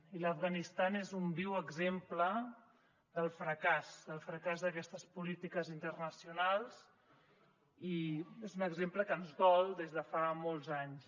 i l’afganistan és un viu exemple del fracàs del fracàs d’aquestes polítiques internacionals i és un exemple que ens dol des de fa molts anys